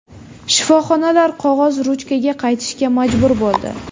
Shifoxonalar qog‘oz-ruchkaga qaytishga majbur bo‘ldi.